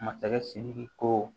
Masakɛ sidiki ko